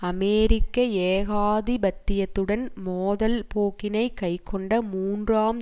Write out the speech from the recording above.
அமெரிக்க ஏகாதிபத்தியத்துடன் மோதல் போக்கினை கைக்கொண்ட மூன்றாம்